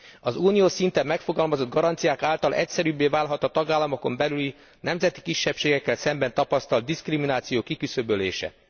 Az uniós szinten megfogalmazott garanciák által egyszerűbbé válhat a tagállamokon belüli nemzeti kisebbségekkel szemben tapasztalt diszkrimináció kiküszöbölése.